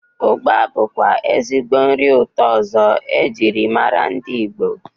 Ụgba bụkwa ezigbo nri ụtọ ọzọ e jirimara ndị Igbo.